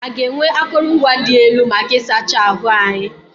A ga-enwe akụrụngwa dị elu maka ịsacha ahụ anyị.